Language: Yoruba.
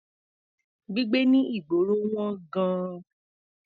Gbígbé ní ìgboro wọ́n gan-an.